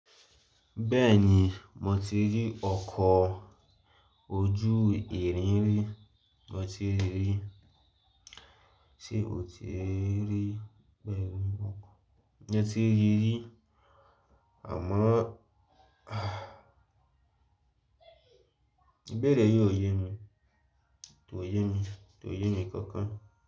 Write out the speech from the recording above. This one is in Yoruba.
Bẹ́ẹ̀ni, mo ti rí ọkọ̀ ojú ìrìn rí, mo ti rí rí. Ṣé o ti rí bẹ́ẹ̀ ni ọkọ̀? Mo ti rí rí, àmọ́ ah ìbéèrè yìí ò yẹ mí, kò ye mí, kò ye mí kankan.